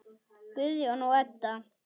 Guðjón og Edda.